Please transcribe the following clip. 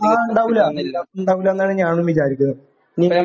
ആഹ്. ഉണ്ടാവില്ല. ഉണ്ടാവില്ല എന്ന് തന്നെയാണ് ഞാനും വിചാരിക്കുന്നത്.